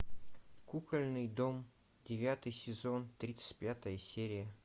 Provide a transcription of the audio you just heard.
кукольный дом девятый сезон тридцать пятая серия